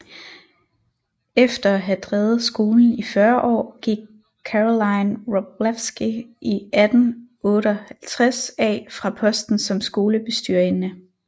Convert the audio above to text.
Efter at have drevet skolen i 40 år gik Caroline Wroblewsky i 1858 af fra posten som skolebestyrerinde